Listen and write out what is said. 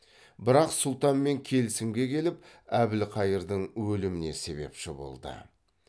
бірақ сұлтанмен келісімге келіп әбілқайырдың өліміне себепші болды